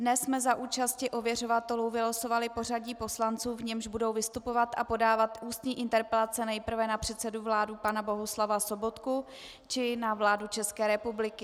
Dnes jsme za účasti ověřovatelů vylosovali pořadí poslanců, v němž budou vystupovat a podávat ústní interpelace nejprve na předsedu vlády pana Bohuslava Sobotku či na vládu České republiky.